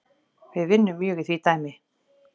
Við vinnum mjög í því dæmi